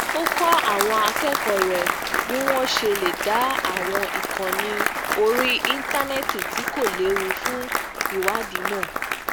ó kó àwọn akékòó rè bí wón ṣe lè da àwọn ìkànnì orí íńtánéètì tí kò léwu fún ìwádìí mọ